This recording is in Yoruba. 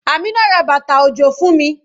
Amina ra bàtà òjò fún mi.